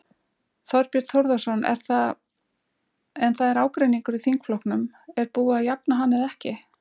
Þorbjörn Þórðarson: En það er ágreiningur í þingflokknum, er búið að jafna hann eða ekki?